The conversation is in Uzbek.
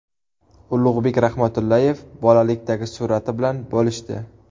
Ulug‘bek Rahmatullayev bolalikdagi surati bilan bo‘lishdi.